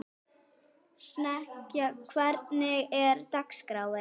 Snekkja, hvernig er dagskráin?